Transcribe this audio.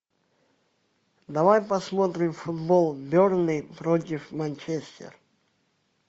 давай посмотрим футбол бернли против манчестер